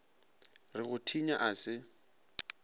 re go thinya a se